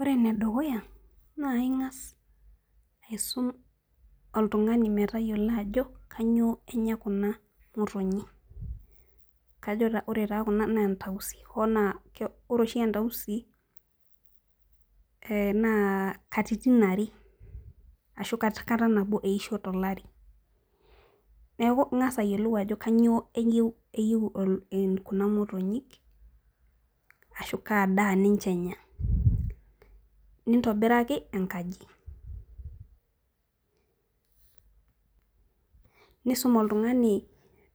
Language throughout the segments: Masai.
Ore ene dukuya naa ing'as aisum oltung'ani metayiolo ajo, kainyoo enya kuna motonyi. Ajo ore taa kuna na entausi, oo naa ore oshi entaisi naa katitin are, anaa kata nabo eisho tolari. Neaku ing'as ayiolou ajo kainyoo eyou kuna motonyik, ashu kaa daa ninche enya. Nintobiraki enkaji. Nisum oltung'ani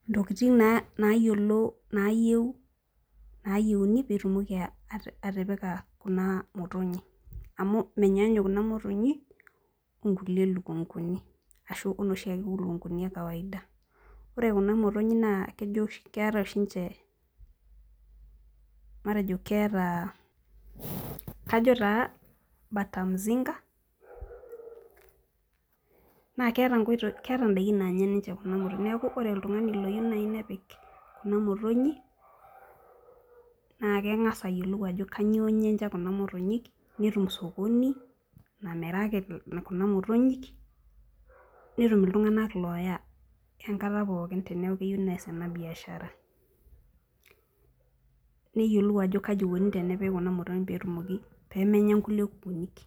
intookitin naayiolo naayieuni, pee itilaki atipika kuna motonyi, amu meinyaanyuk kuna motonyi o nkulie lukung'uni, ashu o noshiake lukung'uni e kawaida. Ore kuna motonyi naa keata oshi ninche, kajo taa bata mzinga, naa keata ninche indaiki naanya kuna motony, neaku ore oltung'ani naaji loyiou nepik kuna motonyi, naa keng'as ayiolou ajo kainyoo enya kuna motonyik, netum sokoni, namiraki kuna motonyik, netum iltung'anak looya enkata pookin teneaku eyou neas ena biaashara. Neyiolou ajo kaji eikuni kuna motonyi peyie etumoki pee menya kulie kukunik.